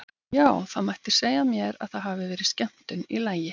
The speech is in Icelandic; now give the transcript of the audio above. Já, það mætti segja mér að það hafi verið skemmtun í lagi!